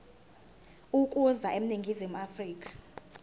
ukuza eningizimu afrika